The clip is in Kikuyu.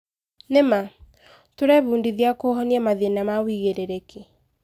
Nĩ ma. Tũrebundithia kũhonia mathĩna na wĩigĩrĩrĩki.